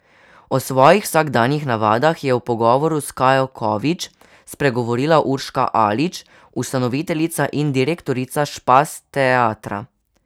O svojih vsakdanjih navadah je v pogovoru s Kajo Kovič spregovorila Urška Alič, ustanoviteljica in direktorica Špas teatra.